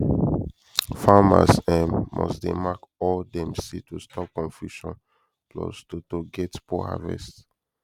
farmers um must dey mark all dem seed to stop confusion plus to to get poor harvest